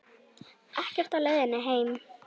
Ekkert á leiðinni heim